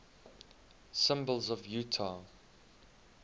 symbols of utah